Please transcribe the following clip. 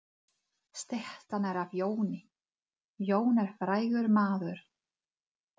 Styttan er af Jóni. Jón er frægur maður.